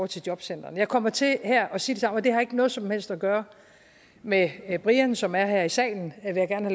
til jobcentrene jeg kommer til her at sige det samme og det har ikke noget som helst at gøre med brian som er her i salen vil jeg gerne